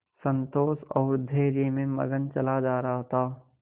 संतोष और धैर्य में मगन चला जा रहा था